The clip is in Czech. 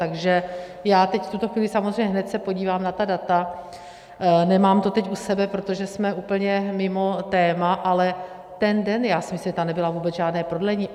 Takže já teď v tuto chvíli samozřejmě hned se podívám na ta data, nemám to teď u sebe, protože jsme úplně mimo téma, ale ten den, já si myslím, že tam nebylo vůbec žádné prodlení.